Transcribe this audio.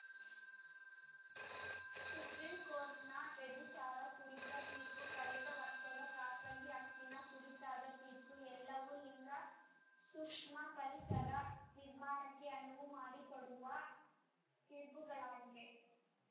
ಸುಪ್ರಿಂಕೋರ್ಟ್‌ನ ವ್ಯಭಿಚಾರ ಕುರಿತ ತೀರ್ಪು ಕಳೆದ ವರ್ಷದ ಖಾಸಗಿ ಹಕ್ಕಿನ ಕುರಿತಾದ ತೀರ್ಪು ಎಲ್ಲವೂ ಲಿಂಗಸೂಕ್ಷ್ಮ ಪರಿಸರ ನಿರ್ಮಾಣಕ್ಕೆ ಅನುವು ಮಾಡಿಕೊಡುವ ತೀರ್ಪುಗಳಾಗಿವೆ